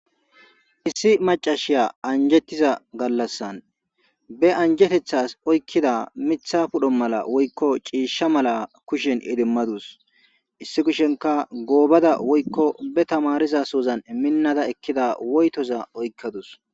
issi macashiya anjettiza gallassan be anjetethas oykkida mitha pudho mala woykko ciisha mala kushen idimmadus issi kushenka goobada woykko be tamariza suzan minnada ekkida woytoza oykkadus